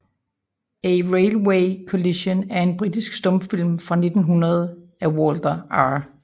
A Railway Collision er en britisk stumfilm fra 1900 af Walter R